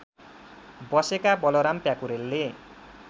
बसेका बलराम प्याकुरेलले